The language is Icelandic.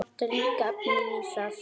Vantar líka efnið í það.